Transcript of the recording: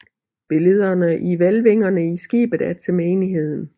Billederne i hvælvingerne i skibet er til menigheden